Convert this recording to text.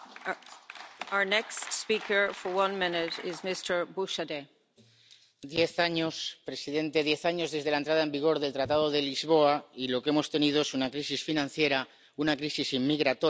Presidente, diez años, presidente, diez años desde la entrada en vigor del Tratado de Lisboa y lo que hemos tenido es una crisis financiera, una crisis inmigratoria, la crisis del